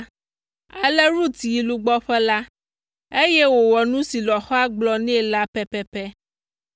Ale Rut yi lugbɔƒe la, eye wòwɔ nu si lɔ̃xoa gblɔ nɛ la pɛpɛpɛ.